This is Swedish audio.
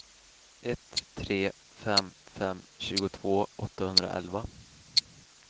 ett tre fem fem tjugotvå åttahundraelva